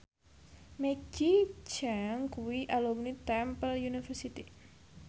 Maggie Cheung kuwi alumni Temple University